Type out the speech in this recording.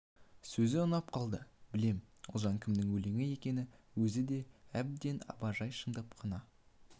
сөзі ұнап қалды білем ұлжан бұл кімнің өлеңі екен өзі деп еді абай жай шындап қана